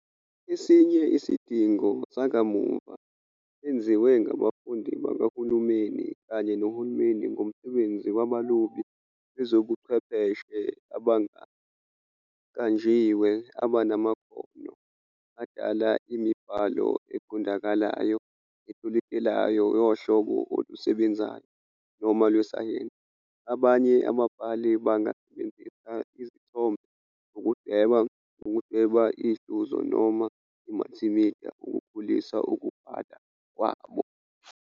Esinye isidingo sakamuva senziwe ngabafundi bakahulumeni kanye nohulumeni ngomsebenzi wabalobi bezobuchwepheshe abangaqanjiwe, abanamakhono adala imibhalo eqondakalayo, etolikekayo yohlobo olusebenzayo noma lwesayensi. Abanye ababhali bangasebenzisa izithombe ukudweba, ukudweba ihluzo noma i-multimedia ukukhulisa ukubhala kwabo.